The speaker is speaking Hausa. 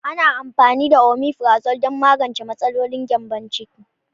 Ana amfani da Omefrazole don magance matsalolin gyambon ciki.